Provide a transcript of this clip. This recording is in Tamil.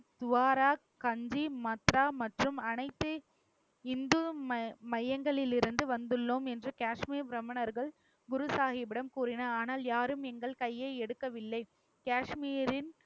துவாரா, கந்தி, மட்ரா மற்றும் அனைத்து இந்து மை~ மையங்களில் இருந்து வந்துள்ளோம் என்று காஷ்மீர் பிராமணர்கள் குரு சாகிப்பிடம் கூறினார். ஆனால், யாரும் எங்கள் கையை எடுக்கவில்லை. காஷ்மீரின்